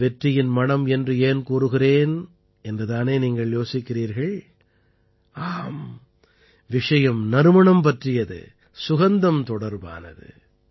நான் வெற்றியின் மணம் என்று ஏன் கூறுகிறேன் என்று தானே நீங்கள் யோசிக்கிறீர்கள் ஆம் விஷயம் நறுமணம் பற்றியது சுகந்தம் தொடர்பானது